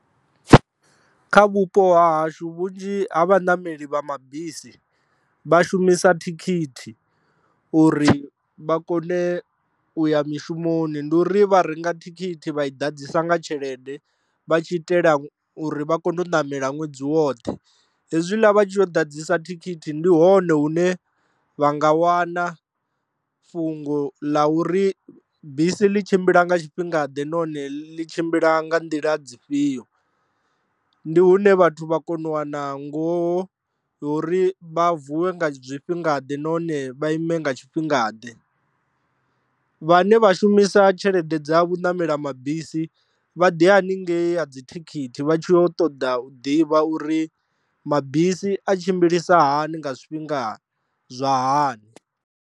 Kha vhupo ha hashu vhunzhi ha vhanameli vha mabisi vha shumisa thikhithi uri vha kone u ya mishumoni ndi uri vha renga thikhithi vha i ḓadzisa nga tshelede vha tshi itela uri vha kone u ṋamela ṅwedzi woṱhe, hezwiḽa vha tshi kho ḓadzisa thikhithi ndi hone hune vha nga wana fhungo ḽa uri bisi ḽi tshimbila nga tshifhinga ḓe nahone ḽi tshimbila nga nḓila dzifhio. Ndi hune vhathu vha kone u wana ngoho yori vha vuwe nga zwifhinga ḓe nahone vha ime nga tshifhinga ḓe, vhane vha shumisa tshelede dza vhu namela mabisi vha ḓi haningei ha dzi thikhithi vha tshi kho ṱoḓa u ḓivha uri mabisi a tshimbilisa hani nga zwifhinga zwa hani.